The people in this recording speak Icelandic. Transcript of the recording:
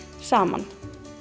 saman